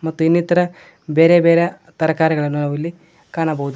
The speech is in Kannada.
ಮತ್ತೆ ಇನ್ನಿತರ ಬೇರೆ ಬೇರೆ ತರಕಾರಿಗಳನ್ನು ನಾವಿಲ್ಲಿ ಕಾಣಬಹುದು.